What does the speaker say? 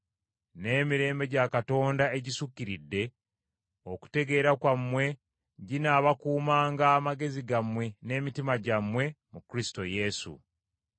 N’emirembe gya Katonda, egisukkiridde okutegeera kwammwe ginaabakuumanga amagezi gammwe n’emitima gyammwe mu Kristo Yesu.